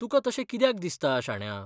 तुकां तशें कित्याक दिसता, शाण्या?